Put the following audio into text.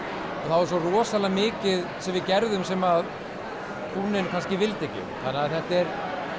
er svo mikið sem við gerðum sem kúnninn vildi ekki þetta er